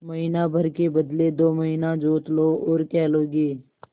महीना भर के बदले दो महीना जोत लो और क्या लोगे